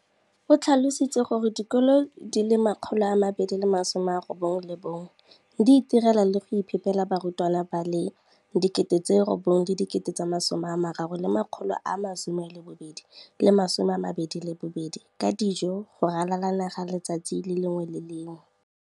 o tlhalositse gore dikolo di le 20 619 di itirela le go iphepela barutwana ba le 9 032 622 ka dijo go ralala naga letsatsi le lengwe le le lengwe.